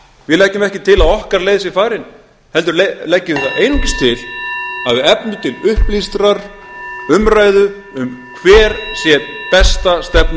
við leggjum ekki til að okkar leið sé farin heldur leggjum við það einungis til að